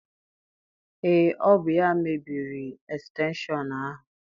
Ee, ọ bụ ya mebiri estenshọn ahụ.